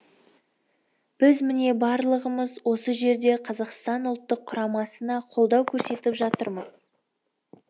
біз міне барлығымыз осы жерде қазақстан ұлттық құрамасына қолдау көрсетіп жатырмыз